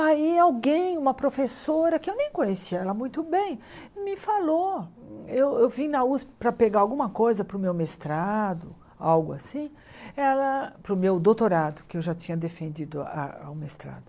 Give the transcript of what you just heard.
Aí alguém, uma professora, que eu nem conhecia ela muito bem, me falou, eu eu vim na Usp para pegar alguma coisa para o meu mestrado, algo assim, ela para o meu doutorado, que eu já tinha defendido a o mestrado.